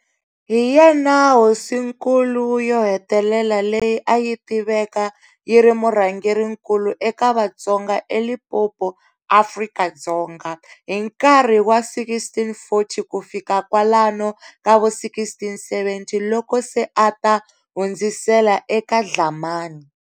Hi yena hosinkulu yo hetelela leyi a yi tiveka yiri murhangerinkulu eka Vatsonga eLimpopo Afrika-Dzonga, hi nkarhi wa 1640 ku fika kwalano kavo 1670 loko se a ta hundzisela eka Dlhamani.